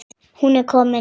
Hún er komin,